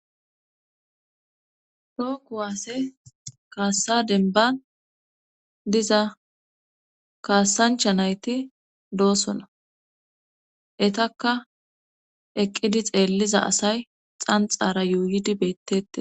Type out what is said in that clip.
too kuwaase kaassa denban diza kaassancha nayti doosona etakka eqqidi xeelliza asay xanxara yuuydi bettete